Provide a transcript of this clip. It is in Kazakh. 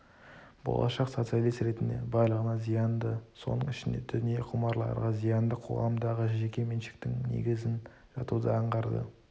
болашақ социалист ретінде барлығына зиянды соның ішінде дүние құмарларға зиянды қоғамдағы жеке меншіктің негізін жатуды аңғарды